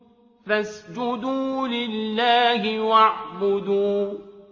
فَاسْجُدُوا لِلَّهِ وَاعْبُدُوا ۩